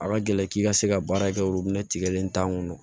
A ka gɛlɛn k'i ka se ka baara kɛ olu tigɛlen t'an kɔnɔ